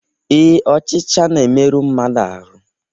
ee, ọchịcha na-emerụ mmadụ ahụ́